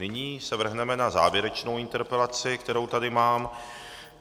Nyní se vrhneme na závěrečnou interpelaci, kterou tady mám.